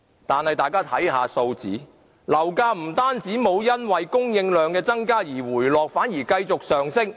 但大家看看數字，樓價不單沒有因為供應量增加而回落，反而繼續上升。